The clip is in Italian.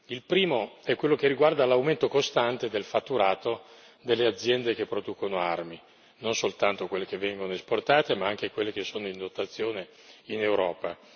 Il primo è quello che riguarda l'aumento costante del fatturato delle aziende che producono armi, non soltanto quelle che vengono esportate, ma anche quelle che sono in dotazione in Europa.